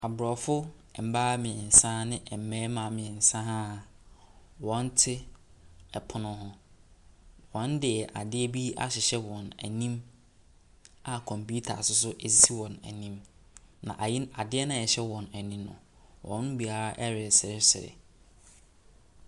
Abrɔfo mmaa mmiɛnsa ɛne mmarima mmiɛnsa a wɔte ɛpono ho. Wɔde adeɛ bi ahyehyɛ wɔani a computer nsoso esi wɔanim. Na adeɛ na ɛhyɛ wɔani no wɔ mo biara resresre.